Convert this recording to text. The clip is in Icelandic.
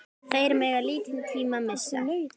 Þeir mega lítinn tíma missa.